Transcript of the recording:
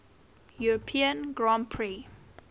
european grand prix